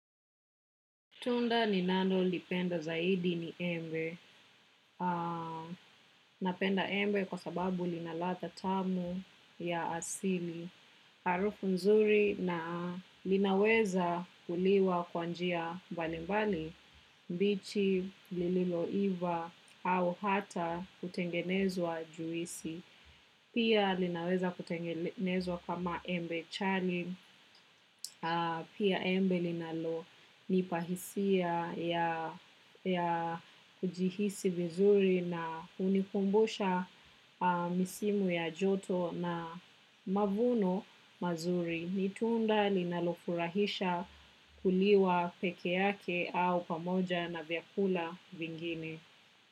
Tunda ninalolipenda zaidi ni embe. Napenda embe kwa sababu lina ladha tamu ya asili. Harufu mzuri na linaweza kuliwa kwa njia mbali mbali. Bichi, lililoiva, au hata kutengenezwa juisi. Pia linaweza kutengenezwa kama embe chali. Pia embe linalo nipa hisia ya kujihisi vizuri na hunikumbusha misimu ya joto na mavuno mazuri. Ni tunda linalo furahisha kuliwa peke yake au pamoja na vyakula vingine.